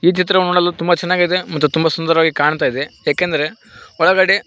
ಈ ಚಿತ್ರ ನೋಡಲು ತುಂಬಾ ಚೆನ್ನಾಗಿದೆ ಮತ್ತು ತುಂಬ ಸುಂದರವಾಗಿದೆ ಕಾಣ್ತಾ ಇದೆ ಏಕೆಂದರೆ ಒಳಗಡೆ--